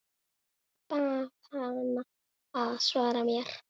Bað hana að svara mér.